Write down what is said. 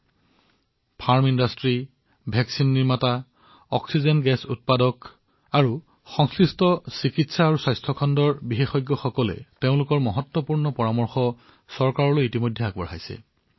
আমাৰ ফাৰ্মাউদ্যোগৰ লোক প্ৰতিষেধক নিৰ্মাতা বা অক্সিজেন উৎপাদনৰ সৈতে সম্পৰ্কিত লোক হওক বা চিকিৎসা ক্ষেত্ৰৰ বিষয়ে বিজ্ঞ লোক হওক তেওঁলোকে নিজৰ গুৰুত্বপূৰ্ণ পৰামৰ্শ চৰকাৰক প্ৰদান কৰিছে